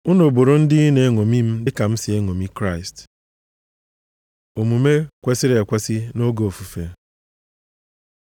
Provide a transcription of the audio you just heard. Unu bụrụ ndị na-eṅomi m, dịka m si eṅomi Kraịst. Omume kwesiri ekwesi nʼoge ofufe